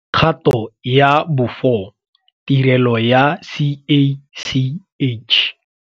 Kgato ya bo 4 - Tirelo ya CACH.